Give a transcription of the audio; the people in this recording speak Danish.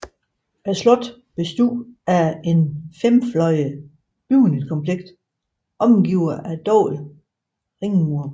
Slottet bestod af et femfløjet bygningskompleks omgivet af dobbelte ringmure